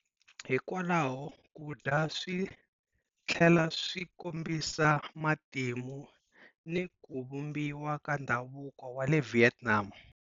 Hikwalaho, ku dya swi tlhela swi kombisa matimu ni ku vumbiwa ka ndhavuko wa le Vietnam.